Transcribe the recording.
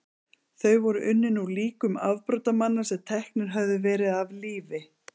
Þau voru unnin úr líkum afbrotamanna sem teknir höfðu verið af lífi.